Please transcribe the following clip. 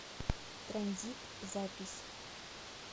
транзит запись